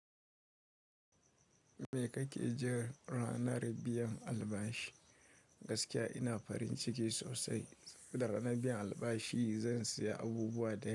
Me kake ji ranar biyan albashi? Gaskiya ina farin ciki sosai da ranar biyan albashi zan saya abubuwa da.